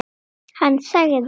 Hann sagði.